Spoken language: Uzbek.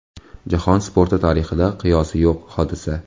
Jahon sporti tarixida qiyosi yo‘q hodisa.